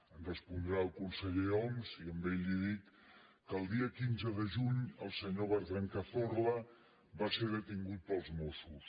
em respondrà el conseller homs i a ell li dic que el dia quinze de juny el senyor bertran cazorla va ser detingut pels mossos